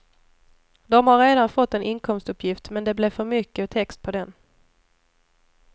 De har redan fått en inkomstuppgift, men det blev för mycket text på den.